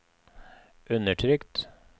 undertrykt